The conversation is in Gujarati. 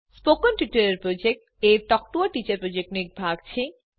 સ્પોકન ટ્યુટોરીયલ પ્રોજેક્ટ એ ટોક ટુ અ ટીચર પ્રોજેક્ટનો એક ભાગ છે